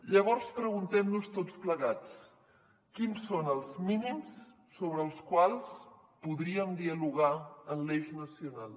llavors preguntem nos tots plegats quins són els mínims sobre els quals podríem dialogar en l’eix nacional